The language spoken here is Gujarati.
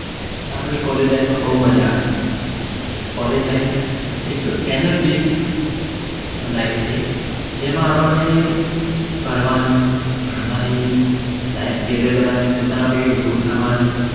આપણને College life માં બવ મજા આવે College life એક Energy થી life છે જેમાં આપણને ફરવાની ભણવાની બી Life career બનાવવાની પોતાના પગે ઉભું થવાની